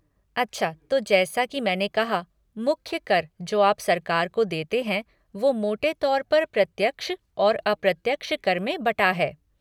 अच्छा तो जैसा की मैंने कहा मुख्य कर जो आप सरकार को देते हैं वो मोटे तौर पर प्रत्यक्ष और अप्रत्यक्ष कर में बटा है।